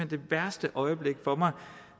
det værste øjeblik for mig